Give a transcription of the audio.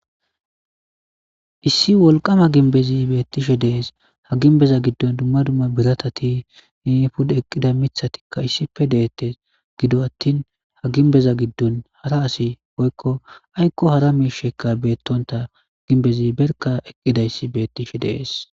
issi wolqama ginbezi beettishe dees ha ginbeza giddon dumma dumma biratati pud eqqida mithatikka issife deette gido attin ha ginbeza giddon hara asi boykko aykko hara miishekka beettonta ginbezi berka eqqidayssi beettishe dees